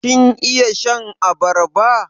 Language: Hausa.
Kin iya shan abarba?